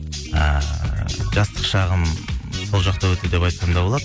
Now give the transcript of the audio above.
ііі жастық шағым сол жақта өтті деп айтсам да болады